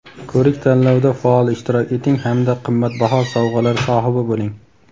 ko‘rik-tanlovda faol ishtirok eting hamda qimmatbaho sovg‘alar sohibi bo‘ling!.